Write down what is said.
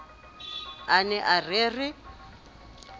a ne a re re